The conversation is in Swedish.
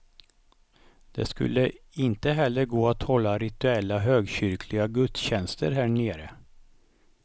Det skulle inte heller gå att hålla rituella högkyrkliga gudstjänster härnere.